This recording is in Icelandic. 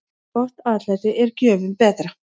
Gott atlæti er gjöfum betra.